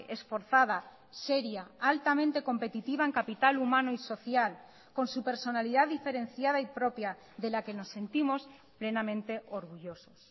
esforzada seria altamente competitiva en capital humano y social con su personalidad diferenciada y propia de la que nos sentimos plenamente orgullosos